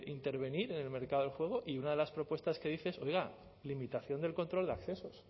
intervenir en el mercado del juego y una de las propuestas que dice es oiga limitación del control de accesos